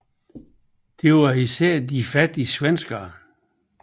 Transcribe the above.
Det var især de fattige svenskere